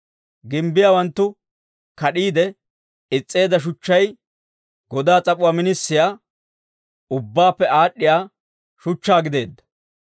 Gimbbiyaawanttu kad'iide is's'eedda shuchchay, godaa s'ap'uwaa minisiyaa, ubbaappe aad'd'iyaa shuchchaa gideedda.